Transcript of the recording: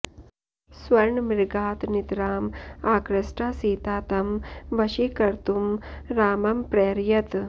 स्वर्णमृगात् नितराम् आकृष्टा सीता तं वशीकर्तुं रामं प्रैरयत्